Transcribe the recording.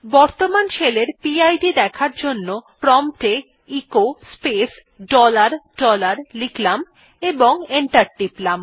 বর্তমান শেলের P I D দেখার জন্য প্রম্পট এ এচো স্পেস ডলার ডলার লিখলাম এবং এন্টার টিপলাম